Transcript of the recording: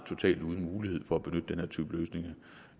totalt uden mulighed for at benytte den her type løsninger